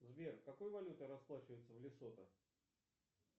сбер какой валютой расплачиваются в лесото